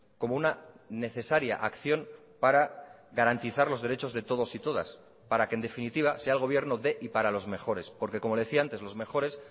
como una necesaria acción para garantizar los derechos de todos y todas para que en definitiva sea el gobierno de y para los mejores porque como le decía antes los mejores